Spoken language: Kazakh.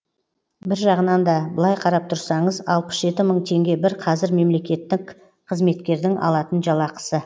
бір жағынан да былай қарап тұрсаңыз алпыс жеті мың теңге бір қазір мемлекеттік қызметкердің алатын жалақысы